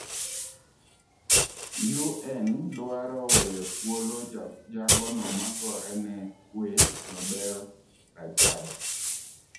UN dwaro weyo thuolo jagono magorene kwee Nobeel Rajab.